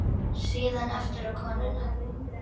Síðan aftur á konuna.